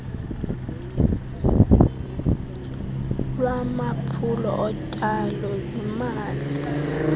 lwamaphulo otyalo zimali